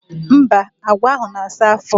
Mba, agwa ahụ na-asa afọ.